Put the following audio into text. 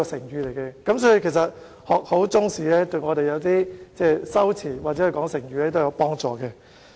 由此可見，學好中國歷史對修辭或運用成語都有幫助。